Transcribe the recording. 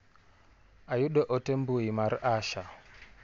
Ayudo ote mbui mar Asha.